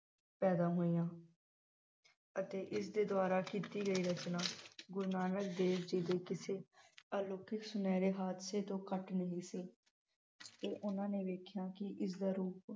ਪੈਦਾ ਹੋਈਆਂ ਅਤੇ ਇਸ ਦੇ ਦੁਆਰਾ ਕੀਤੀ ਗਈ ਰਚਨਾ ਗੁਰੂ ਨਾਨਕ ਦੇਵ ਜੀ ਦੇ ਕਿਸੇ ਅਲੌਕਿਕ ਸੁਨਹਿਰੇ ਹਾਦਸੇ ਤੋਂ ਘੱਟ ਨਹੀਂ ਸੀ ਤੇ ਉਨ੍ਹਾਂ ਨੇ ਵੇਖਿਆ ਕਿ ਇਸ ਦਾ ਰੂਪ